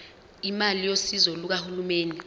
imali yosizo lukahulumeni